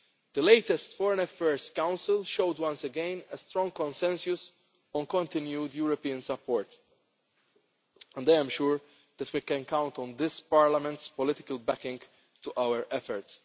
corruption. The latest Foreign Affairs Council showed once again a strong consensus on continued European support and I am sure that we can count on this Parliament's political backing for